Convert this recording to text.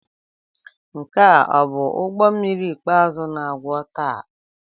Nke a ọ bụ ụgbọ mmiri ikpeazụ na-akwọ taa?